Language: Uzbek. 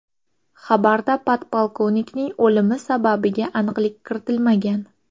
Xabarda podpolkovnikning o‘limi sababiga aniqlik kiritilmagan.